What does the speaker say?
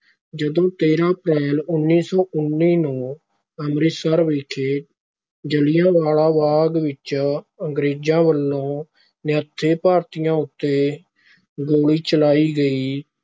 ਜਦੋਂ ਤੇਰਾਂ ਅਪ੍ਰੈਲ ਉੱਨੀ ਸੌ ਉੱਨੀ ਨੂੰ ਅੰਮ੍ਰਿਤਸਰ ਵਿਖੇ ਜਲਿਆਂ ਵਾਲਾ ਬਾਗ ਵਿਚ ਅੰਗਰੇਜ਼ਾਂ ਵਲੋਂ ਨਿਹੱਥੇ ਭਾਰਤੀਆਂ ਉੱਤੇ ਗੋਲੀ ਚਲਾਈ ਗਈ,